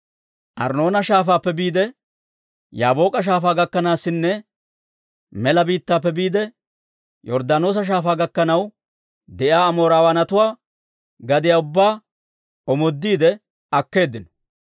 Arnnoona Shaafaappe biide, Yaabook'a Shaafaa gakkanaasinne mela biittaappe biide, Yorddaanoosa Shaafaa gakkanaw de'iyaa Amoorawaanatuwaa gadiyaa ubbaa omoodiide akkeeddino.